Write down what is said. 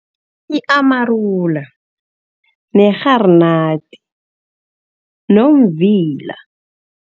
I-amarula, nerharinati nomvila.